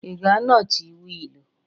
Ị ga-anọchi wheel?